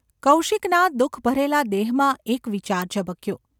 કૌશિકના દુઃખભરેલા દેહમાં એક વિચાર ઝબક્યો.